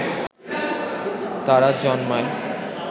তারা জন্মায়